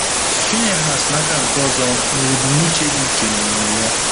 Phinehas, n’aka nke ọzọ, nwere ebumnuche dị iche n’omume ya.